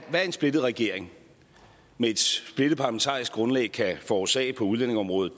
hvad en splittet regering med et splittet parlamentarisk grundlag kan forårsage på udlændingeområdet